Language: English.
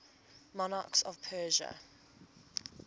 monarchs of persia